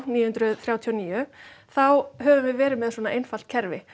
níu hundruð þrjátíu og níu þá höfum við verið með svona einfalt kerfi